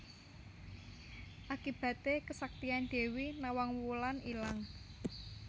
Akibaté kesaktian Dewi Nawang Wulan ilang